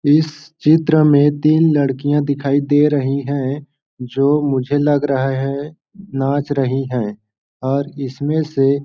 इस चित्र में तीन लड़कियां दिखाई दे रही हैं जो मुझे लग रहा है नाच रही हैं और इसमें से --